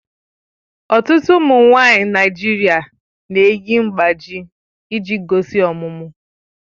Ọtụtụ ụmụ nwanyị Naijiria na-eyi mgbájí iji gosi ọmụmụ